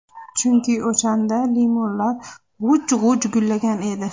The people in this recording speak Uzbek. Chunki o‘shanda limonlar g‘uj-g‘uj gullagan edi.